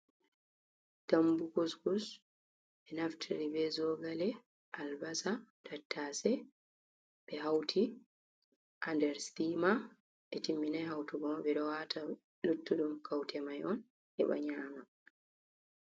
Dambu gus gus e naftira zogale, albasa, tattase ɓe hauti ha nder sthimar ɓe timminai hautugo ɓeɗo wata luttudum kaute mai on heɓa nyama.